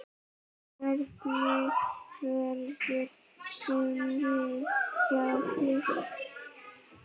Hvernig verður sumarið hjá þér?